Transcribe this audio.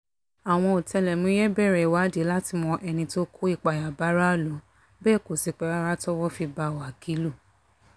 àwọn ọ̀tẹlẹ̀múyẹ́ bẹ̀rẹ̀ ìwádìí láti mọ ẹni tó kó ìpáyà báráàlú bẹ́ẹ̀ kò sì pẹ́ rárá tọ́wọ́ fi bá wákìlú